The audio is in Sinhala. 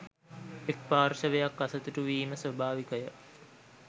එක් පාර්ශවයක් අසතුටු වීම ස්වභාවිකය